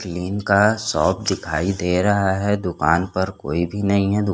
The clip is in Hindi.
क्लीन का शॉप दिखाई दे रहा हैं दूकान पर कोई भी नहीं हैं दू--